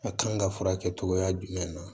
A kan ka furakɛ cogoya jumɛn na